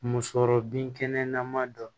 Musɔrɔ binkɛnɛ nama don